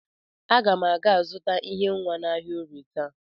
Aga m aga azụta ihe nwa n'ahịa Orie taa.